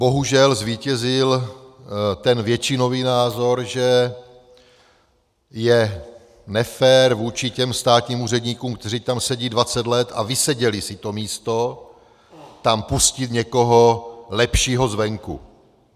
Bohužel zvítězil ten většinový názor, že je nefér vůči těm státním úředníkům, kteří tam sedí 20 let a vyseděli si to místo, tam pustit někoho lepšího zvenku.